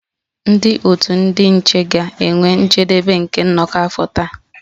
Ndị otu ndị nche ga-enwe njedebe nke nnọkọ afọ taa